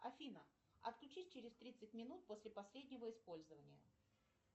афина отключись через тридцать минут после последнего использования